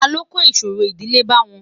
ta ló kò ìṣòro ìdílé bá wọn?